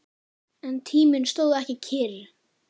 En tíminn stóð ekki kyrr.